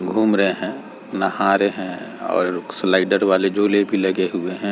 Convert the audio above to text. घूम रहे हैं नहा रहे हैं और स्लाइडर वाले झूले भी लगे हुए हैं।